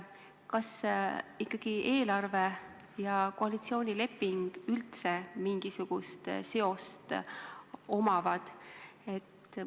Kas eelarvel ja koalitsioonilepingul üldse mingisugust seost on?